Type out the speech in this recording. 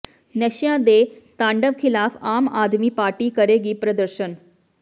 ਨਸ਼ਿਆਂ ਦੇ ਤਾਂਡਵ ਖਿਲਾਫ ਆਮ ਆਦਮੀ ਪਾਰਟੀ ਕਰੇਗੀ ਪ੍ਰਦਰਸ਼ਨ